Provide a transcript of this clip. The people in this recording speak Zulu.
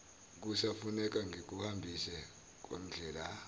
kusafuneka ngikuhambise kondlela